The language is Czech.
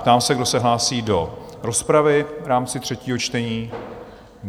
Ptám se, kdo se hlásí do rozpravy v rámci třetího čtení?